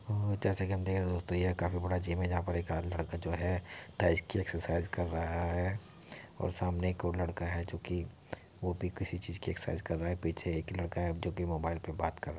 वो जैसा की हम देख रहें हैं। दोस्तों यह काफी बड़ा जिम है। जहाँ पर एक - आ लड़का जो है। एक्सरसाइज कर रहा है और सामने एक और लड़का है जोकि वो भी किसी चीज़ की एक्सरसाइज कर रहा है। पीछे एक ही लडका है। जो की मोबाइल पे बात कर र --